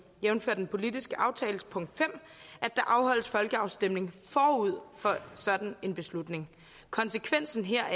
jævnfør den politiske aftales punkt fem at der afholdes folkeafstemning forud for sådan en beslutning konsekvensen heraf